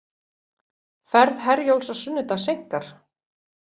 Ferð Herjólfs á sunnudag seinkar